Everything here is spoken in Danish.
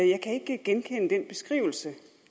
jeg kan ikke genkende den beskrivelse